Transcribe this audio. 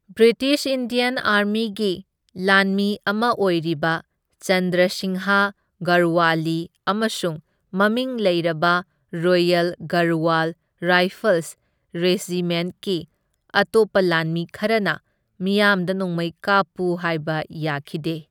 British Indian ꯑꯥꯔꯃꯤꯒꯤ ꯂꯥꯟꯃꯤ ꯑꯃ ꯑꯣꯏꯔꯤꯕ ꯆꯟꯗ꯭ꯔ ꯁꯤꯡꯍ ꯒꯔꯋꯥꯂꯤ ꯑꯃꯁꯨꯡ ꯃꯃꯤꯡ ꯂꯩꯔꯕ ꯔꯣꯌꯜ ꯒꯔꯋꯥꯜ ꯔꯥꯏꯐꯜꯁ ꯔꯦꯖꯤꯃꯦꯟꯠꯀꯤ ꯑꯇꯣꯞꯄ ꯂꯥꯟꯃꯤ ꯈꯔꯅ ꯃꯤꯌꯥꯝꯗ ꯅꯣꯡꯃꯩ ꯀꯥꯞꯄꯨ ꯍꯥꯏꯕ ꯌꯥꯈꯤꯗꯦ꯫